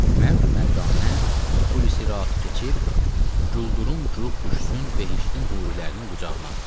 Mərdi mərdanə, pul siratı keçib, güldürüm gürüb düşsün behiştin hurilərinin qucağına.